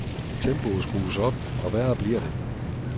Tempoet skrues op, og værre bliver det.